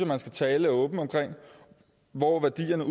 man skal tale åbent om hvor værdierne